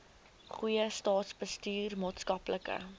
goeie staatsbestuur maatskaplike